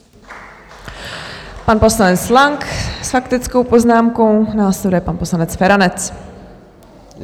Pan poslanec Lang s faktickou poznámkou, následuje pan poslanec Feranec.